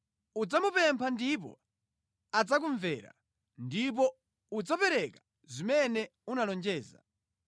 Udzamupempha ndipo adzakumvera, ndipo udzapereka zimene unalonjeza.